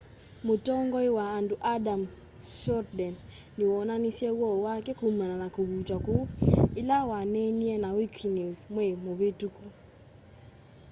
mũtongoĩ wa andũ adam cuerden nĩwoonanĩsye woo wake kũmana na kũvũtwa kũũ ĩla waneenĩe na wĩkĩnews mweĩ mũvĩtũkũ